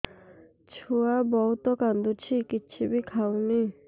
ଛୁଆ ବହୁତ୍ କାନ୍ଦୁଚି କିଛିବି ଖାଉନି